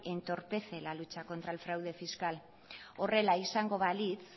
entorpece la lucha contra el fraude fiscal horrela izango balitz